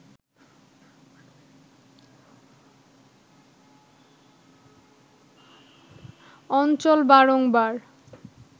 অঞ্চল বারংবার